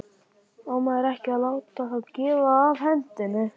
Á maður ekki að láta þá þefa af hendinni?